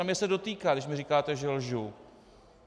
A mě se dotýká, když mi říkáte, že lžu.